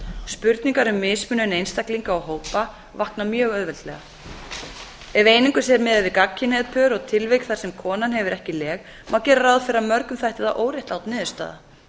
spurningar um mismunun einstaklinga og hópa vakna mjög auðveldlega ef einungis er miðað við gagnkynhneigð pör og tilvik þar sem konan hefur ekki leg má gera ráð fyrir að mörgum þætti það óréttlát niðurstaða